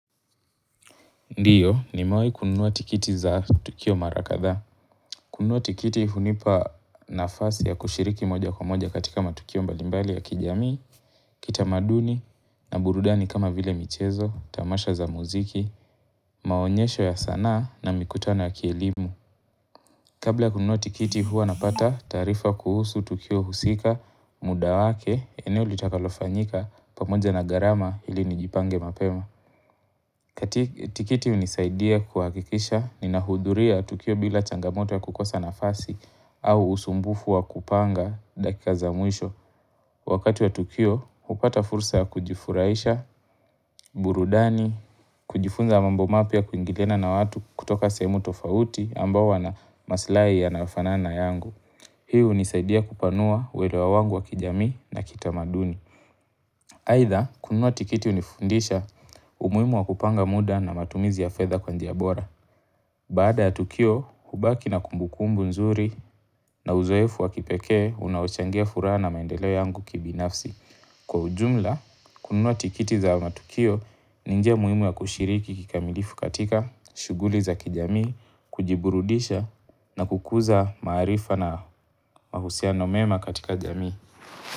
Ndio, nimewai kununua tikiti za tukio mara kadhaa. Kununua tikiti hunipa nafasi ya kushiriki moja kwa moja katika matukio mbalimbali ya kijamii, kitamaduni, na burudani kama vile michezo, tamasha za muziki, maonyesho ya sana na mikutano ya kielimu. Kabla ya kununua tikiti huwa napata taarifa kuhusu tukio husika muda wake, eneo litakalofanyika pamoja na gharama ili nijipange mapema. Tikiti hunisaidia kuhakikisha ninahudhuria tukio bila changamoto ya kukosa nafasi au usumbufu wa kupanga dakika za mwisho. Wakati wa tukio, hupata fursa ya kujifurahisha, burudani, kujifunza mambo mapya kuingiliana na watu kutoka semu tofauti ambao wana maslahi yanayofanana na yangu. Hii unisaidia kupanua kuelewa wangu wa kijamii na kitamaduni. Aidha, kunua tikiti hunifundisha umuhimu wa kupanga muda na matumizi ya fedha kwa njia bora. Baada ya Tukio, hubaki na kumbu kumbu nzuri na uzoefu wa kipekee, unaochangia furaha na maendeleo yangu kibinafsi. Kwa ujumla, kunua tikiti za matukio, ni njia muhimu ya kushiriki kikamilifu katika, shughuli za kijamii, kujiburudisha na kukuza maarifa na mahusiano mema katika jamii.